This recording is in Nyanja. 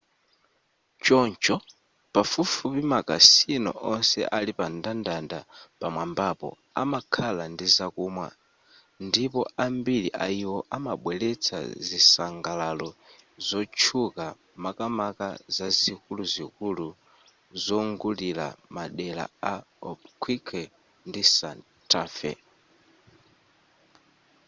choncho pafupifupi makasino onse ali pamndandanda pamwambapo amakhala ndizakumwa ndipo ambiri ayiwo amabweretsa zisangalaro zotchuka makamaka zikuluzikulu zongulira madera a albuquerque ndi santa fe